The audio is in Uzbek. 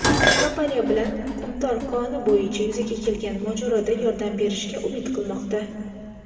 kompaniyasi bilan "Qumtor" koni bo‘yicha yuzaga kelgan mojaroda yordam berishiga umid qilmoqda.